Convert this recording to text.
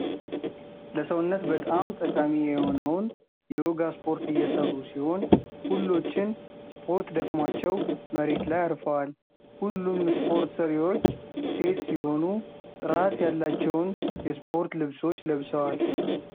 ለሰውነት በጣም ጠቃሚ የሆነውን የዮጋ ስፖርት እየሰሩ ሲሆን። ሁሎችን ስፖርት ደክሞዋቸው መሬት ላይ አርፋዋል ሁሉም ስፖርት ሰሪዎች ሴት ሲሆኑ ጥራት ያላቸውን የስፖርት ልብሶች ለብሰዋል።